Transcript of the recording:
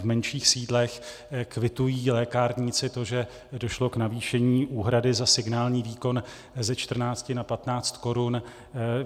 V menších sídlech kvitují lékárníci to, že došlo k navýšení úhrady za signální výkon ze 14 na 15 korun.